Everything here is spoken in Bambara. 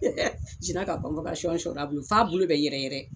n sina ka sɔri a bolo, f'a bolo bɛ yɛrɛ yɛrɛ.